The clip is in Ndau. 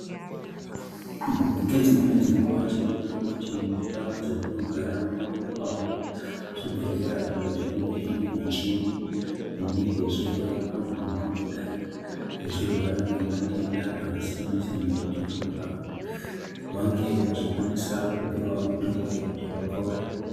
Ngedzimweni dzenguwa tioona kuti ndau dzatinogara munowanikwawo zvibhedhlera zvimwe zvinonga zvine muchini inenge ichihloya vantu vangangodai vachirwara ngematenda akasiyana siyana kuti vange vachikwanisa kupiwawo mitombo inoita vapore